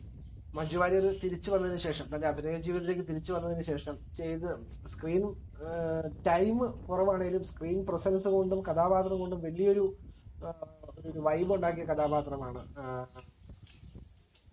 മഞ്ജുവാരിയർ തിരിച്ചുവന്നതിനുശേഷം തന്റെ അഭിനയജീവിതത്തിലേക്ക് തിരിച്ചുവന്നതിനു ശേഷം ചെയ്ത screen ഏർ time കൊറവാണേലും screen presence കൊണ്ടും കഥാപാത്രം കൊണ്ടും വലിയൊരു ഏർ ഒരു vibe ഉണ്ടാക്കിയ കഥാപാത്രമാണ് ഏഹ്